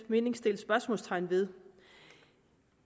mening sættes spørgsmålstegn ved